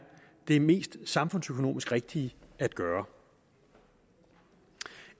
det mest samfundsøkonomisk rigtige at gøre